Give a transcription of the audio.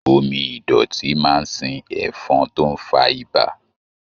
Omí idọti máa n sìn ẹfọn tó n fà ibà.